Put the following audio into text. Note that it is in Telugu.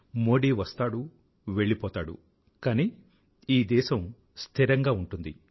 మోదీ వస్తాడు వెళ్పోతాడు కానీ ఈ దేశం స్థిరంగా ఉంటుంది